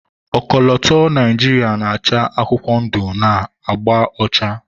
ọkọlọtọ Naijiria na-acha akwụkwọ ndụ na agba ọcha